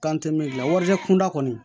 gila warijɛ kunda kɔni